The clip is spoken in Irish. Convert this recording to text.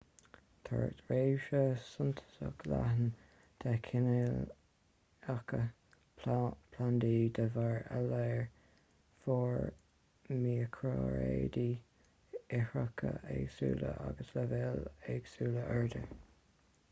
tá réimse suntasach leathan de chineálacha plandaí de bharr a léar mór miocraeráidí ithreacha éagsúla agus leibhéil éagsúla airde